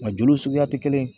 Nga joli suguya tɛ kelen ye